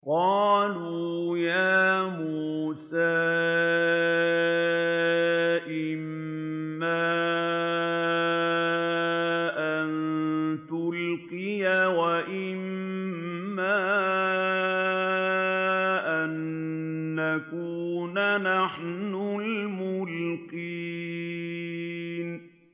قَالُوا يَا مُوسَىٰ إِمَّا أَن تُلْقِيَ وَإِمَّا أَن نَّكُونَ نَحْنُ الْمُلْقِينَ